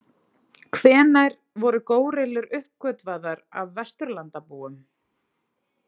Hvenær voru górillur uppgötvaðar af vesturlandabúum?